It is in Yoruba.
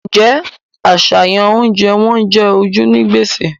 Ǹjẹ́ àṣàyàn oúnjẹ wọn jẹ ojú ní gbèsè?